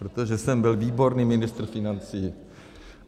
Protože jsem byl výborný ministr financí.